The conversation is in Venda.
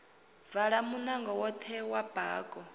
vala munango woṱhe wa bako